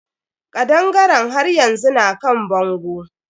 Kaɗangaren haryanzu na kan bango.